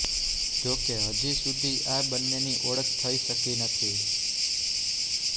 જો કે હજી સુધી આ બંન્નેની ઓળખ થઇ શકી નથી